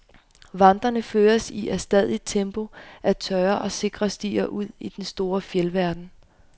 Vandrerne føres i adstadigt tempo ad tørre og sikre stier ud i den store fjeldverden.